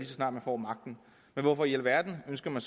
så snart man får magten men hvorfor i alverden ønsker man